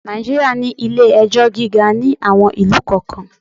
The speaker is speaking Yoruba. Nàìjíríà ní ilé-ẹjọ́ gíga ní àwon ìlú kọ̀ọ́kan.